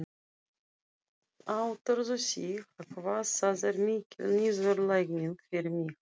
Áttarðu þig á hvað það er mikil niðurlæging fyrir mig?